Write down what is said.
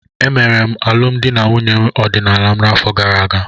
Emere m alụmdi na nwunye ọdịnala m n'afọ gara aga.